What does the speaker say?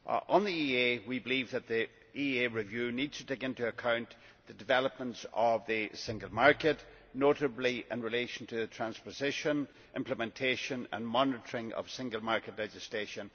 On the EEA, we believe that the EEA review needs to take into account the development of the single market, notably in relation to the transposition, implementation and monitoring of single market legislation.